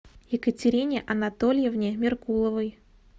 екатерине анатольевне меркуловой